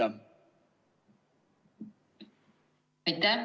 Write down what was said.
Aitäh!